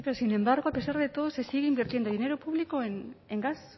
sí pero sin embargo a pesar de todo se sigue invirtiendo dinero público en gas